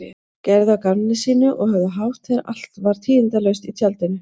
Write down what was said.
Gerðu að gamni sínu og höfðu hátt þegar allt var tíðindalaust á tjaldinu.